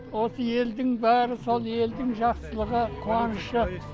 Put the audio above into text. осы елдің бәрі сол елдің жақсылығы қуанышы